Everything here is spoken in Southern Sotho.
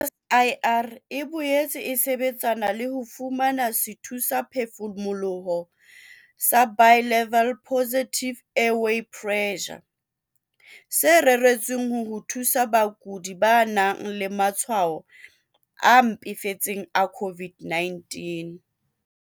CSIR e boetse e sebetsana le ho fumana sethusaphefumoloho sa Bi-level Positive Airway Pressure, se reretsweng ho thusa bakudi ba nang le matshwao a mpefetseng a COVID-19.